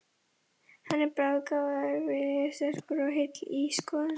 Hann er bráðgáfaður, viljasterkur og heill í skoðunum.